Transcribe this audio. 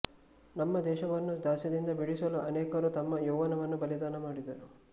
ನಮ್ಮ ದೇಶವನ್ನು ದಾಸ್ಯದಿಂದ ಬಿಡಿಸಲು ಅನೇಕರು ತಮ್ಮ ಯೌವ್ವನವನ್ನು ಬಲಿದಾನ ಮಾಡಿದರು